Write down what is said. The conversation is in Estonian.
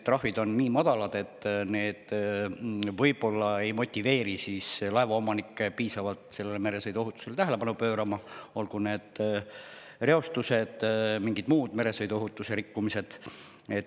Trahvid on nii madalad, et need võib-olla ei motiveeri laevaomanikke piisavalt meresõiduohutusele tähelepanu pöörama, olgu need reostused või mingid muud meresõiduohutuse rikkumised.